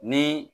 Ni